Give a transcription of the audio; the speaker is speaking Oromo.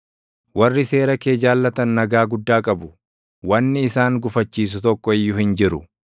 Warri seera kee jaallatan nagaa guddaa qabu; wanni isaan gufachiisu tokko iyyuu hin jiru.